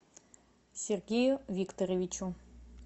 сергею викторовичу